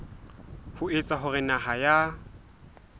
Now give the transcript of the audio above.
ho etsa hore naha ya